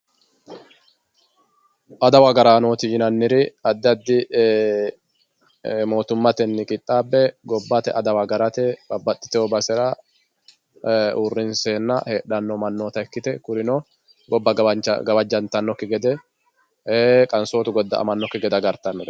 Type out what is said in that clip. adawu agaraanooti yineemmoti addi addi mootimmateni qixxaabbe gobbate adawa agarate babbaxxino basera uurrinseenna heedhanno manna ikkite kurino gobba gawajjantannokki gede qansootu godda"amannokki gede agartannoreeti